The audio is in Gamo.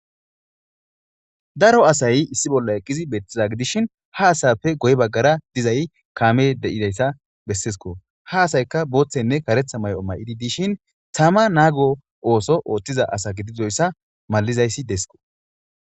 Daro asay issi bolla eqqizi beeththiza gidishin ha asappe guye baggara dizay kaamee de7izayssa besseeskoo; ha asaykka booththeynne kareththa may7o may7idi dishin thama naago ooso ooththiza asa gididoysa mallizaysi des koo.